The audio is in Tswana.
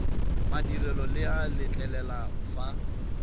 madirelo le a letlelela fa